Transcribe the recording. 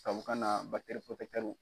Tubabukan na